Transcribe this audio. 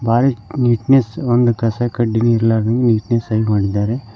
Forest neatness ಒಂದು ಕಸ ಕಡ್ಡಿನು ಇರ್ಲಾರ್ದಂಗೆ ನೀಟ್ನೆಸ್ಸಗಿ ಮಾಡಿದ್ದಾರೆ.